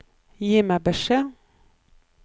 Gi meg beskjed